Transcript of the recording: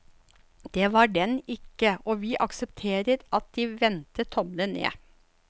Det var den ikke, og vi aksepterer at de vendte tommelen ned.